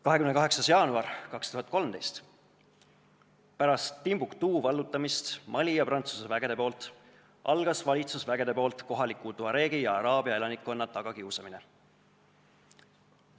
28. jaanuar 2013: pärast seda, kui Mali ja Prantsuse väed olid Timbuktu vallutanud, sai alguse valitsusvägedepoolne kohalike tuareegide ja araablaste tagakiusamine.